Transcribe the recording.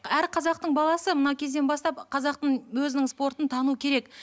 әр қазақтың баласы мына кезден бастап қазақтың өзінің спортын тану керек